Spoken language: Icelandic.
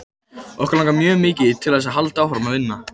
Okkur langar mjög mikið til þess að halda áfram að vinna.